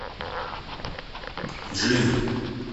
джин